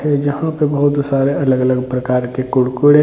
जहाँ पे बहोत सारे अलग-अलग प्रकार के कुरकुरे --